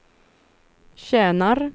tjänar